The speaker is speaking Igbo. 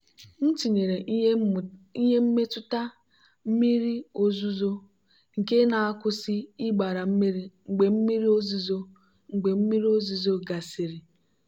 m tinyere ihe mmetụta mmiri ozuzo nke na-akwụsị ịgbara mmiri mgbe mmiri ozuzo mgbe mmiri ozuzo gasịrị.